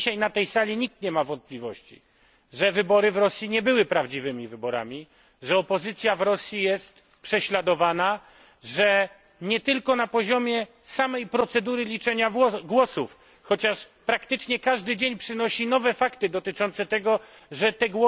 Dzisiaj na tej sali nikt nie ma wątpliwości, że wybory w Rosji nie były prawdziwymi wyborami, że opozycja w Rosji jest prześladowana, nie tylko na poziomie samej procedury liczenia głosów, chociaż praktycznie każdy dzień przynosi nowe fakty dotyczące tego, że to